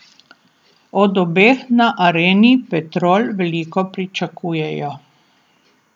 Od obeh na Areni Petrol veliko pričakujejo.